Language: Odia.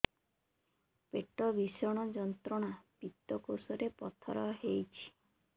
ପେଟ ଭୀଷଣ ଯନ୍ତ୍ରଣା ପିତକୋଷ ରେ ପଥର ହେଇଚି